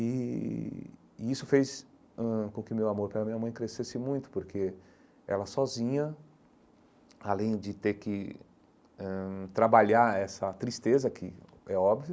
E e isso fez ãh com que meu amor pela minha mãe crescesse muito, porque ela sozinha, além de ter que ãh trabalhar essa tristeza, que é óbvio,